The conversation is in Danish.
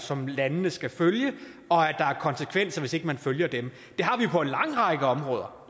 som landene skal følge og at der er konsekvenser hvis ikke man følger dem det har vi på en lang række områder